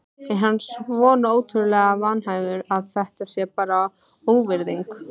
Er hann svona ótrúlega vanhæfur að þetta sé bara óvirðing?